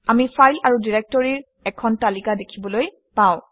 আমি ফাইল আৰু ডাইৰেক্টৰীৰ এখন তালিকা দেখিবলৈ পাওঁ